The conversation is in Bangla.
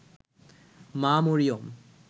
মা মরিয়ম